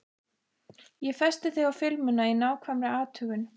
Ég festi þig á filmuna í nákvæmri athugun.